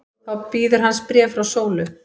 Þá bíður hans bréf frá Sólu.